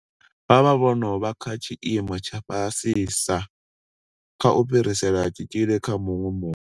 Vha vha vho no vha kha tshiimo tsha fhasisa kha u fhirisela tshitzhili kha muṅwe muthu.